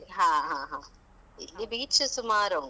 ಹ ಹ ಹಾ. ಇಲ್ಲಿ beach ಸ ಸುಮಾರುಂಟು.